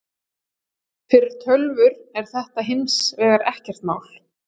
fyrir tölvur er þetta hins vegar ekkert mál